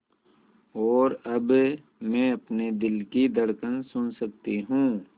और अब मैं अपने दिल की धड़कन सुन सकती हूँ